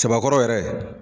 Cɛbakɔrɔ yɛrɛ.